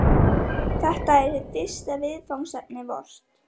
Þetta er hið fyrsta viðfangsefni vort.